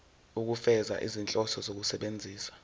ukufeza izinhloso zokusebenzisa